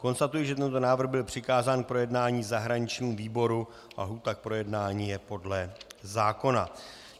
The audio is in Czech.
Konstatuji, že tento návrh byl přikázán k projednání zahraničnímu výboru a lhůta k projednání je podle zákona.